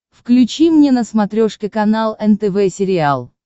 включи мне на смотрешке канал нтв сериал